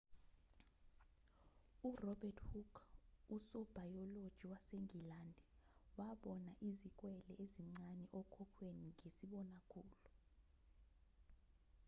urobert hooke usobhayoloji wasengilandi wabona izikwele ezincane okhokhweni ngesibonakhulu